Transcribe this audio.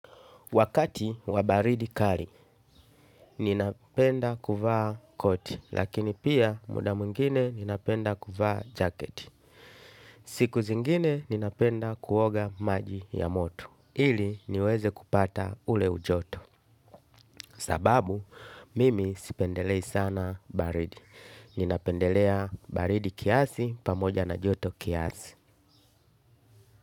Wakati wa baridi kali, ninapenda kuvaa koti, lakini pia muda mwingine ninapenda kuvaa jaket. Siku zingine ninapenda kuoga maji ya moto. Ili niweze kupata ule ujoto. Sababu, mimi sipendelei sana baridi. Ninapendelea baridi kiasi pamoja na joto kiasi.